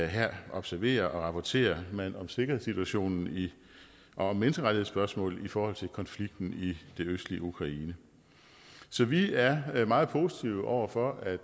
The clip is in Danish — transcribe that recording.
her observerer og rapporterer man om sikkerhedssituationen og menneskerettighedsspørgsmålet i forhold til konflikten i det østlige ukraine så vi er meget positive over for at